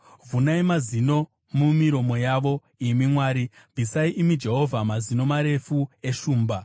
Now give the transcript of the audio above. Vhunai mazino mumiromo yavo, imi Mwari; bvisai, imi Jehovha, mazino marefu eshumba!